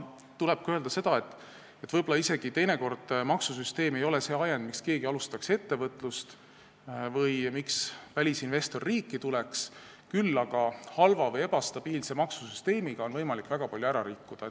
Tuleb öelda ka seda, et võib-olla teinekord maksusüsteem ei ole isegi see ajend, miks keegi alustab ettevõtlust või miks välisinvestor riiki tuleb, küll aga on halva või ebastabiilse maksusüsteemiga võimalik väga palju ära rikkuda.